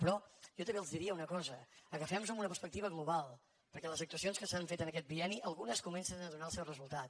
però jo també els diria una cosa agafem nos ho amb una perspectiva global perquè de les actuacions que s’han fet en aquest bienni algunes comencen a donar el seu resultat